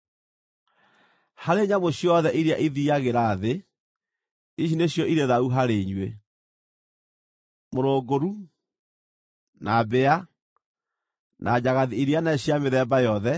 “ ‘Harĩ nyamũ ciothe iria ithiiagĩra thĩ, ici nĩcio irĩ thaahu harĩ inyuĩ: mũrũngũru na mbĩa, na njagathi iria nene cia mĩthemba yothe,